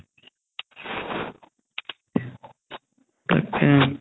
তাকেই